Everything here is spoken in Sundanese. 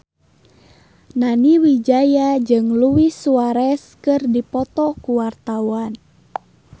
Nani Wijaya jeung Luis Suarez keur dipoto ku wartawan